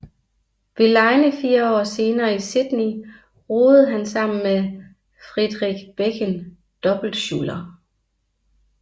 Ved legene fire år senere i Sydney roede han sammen med Fredrik Bekken dobbeltsculler